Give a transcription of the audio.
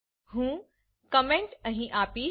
હું કોમેન્ટ અહીં આપીશ